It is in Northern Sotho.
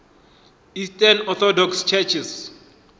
eastern orthodox churches